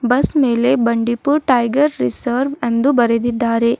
Bus ಮೇಲೆ Bandipur tiger reserve ಎಂದು ಬರೆದಿದ್ದಾರೆ.